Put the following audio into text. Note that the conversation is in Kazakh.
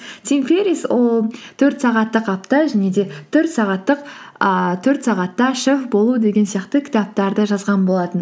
тим феррис ол төрт сағаттық апта және де ііі төрт сағатта шеф болу деген сияқты кітаптарды жазған болатын